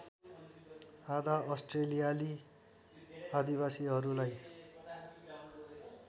आधा अस्ट्रेलियाली आदिवासीहरूलाई